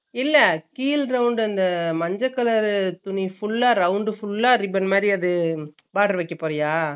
இல்ல கீழ் round அந்த மஞ்சக் colour துணி full அ round full அ ribbon மாதிரி அது boarder வெக்க போரிய